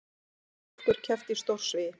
Fjórar stúlkur kepptu í stórsvigi